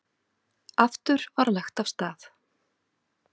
Aftur var lagt af stað.